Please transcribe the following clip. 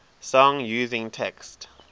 song using text